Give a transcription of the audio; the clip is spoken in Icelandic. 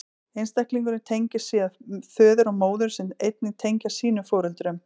Einstaklingurinn tengist síðan föður og móður, sem einnig tengjast sínum foreldrum.